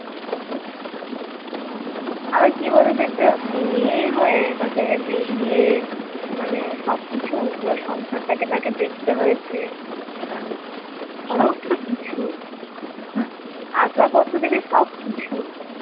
আবার কি বলতো একটা মেয়ে হয়ে তাকে বেরিয়ে মানে সবকিছু পুরো সংসারটাকে তাকে দেখতে হয়েছে সমস্ত কিছু আসবাবপত্র থেকে সবকিছু